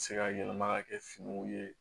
Se ka yɛlɛma ka kɛ finiw ye